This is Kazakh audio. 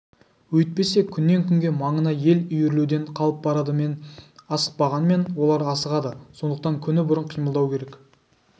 өйтпесе күннен-күнге маңына ел үйірілуден қалып барады мен асықпағанмен олар асығады сондықтан күні бұрын қимылдау керек